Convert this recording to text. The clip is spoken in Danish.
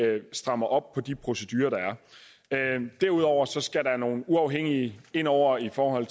at vi strammer op på de procedurer der er derudover skal der nogle uafhængige ind over for at